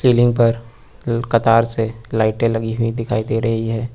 Ceiling पर उम कतार से लाइटें लगी हुई दिखाई दे रही हैं।